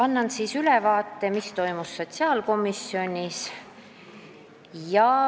Annan ülevaate sellest, mis toimus sotsiaalkomisjonis.